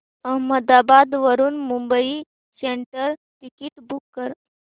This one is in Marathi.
अहमदाबाद वरून मुंबई सेंट्रल टिकिट बुक कर